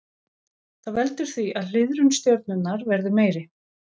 Það veldur því að hliðrun stjörnunnar verður meiri.